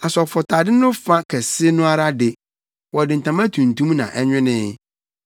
Asɔfotade no fa kɛse no ara de, wɔde ntama tuntum na ɛnwenee